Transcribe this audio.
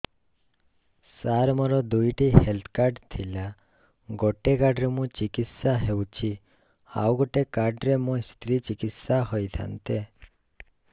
ସାର ମୋର ଦୁଇଟି health card ଥିଲା ଗୋଟେ କାର୍ଡ ରେ ମୁଁ ଚିକିତ୍ସା ହେଉଛି ଆଉ ଗୋଟେ କାର୍ଡ ରେ ମୋ ସ୍ତ୍ରୀ ଚିକିତ୍ସା ହୋଇଥାନ୍ତେ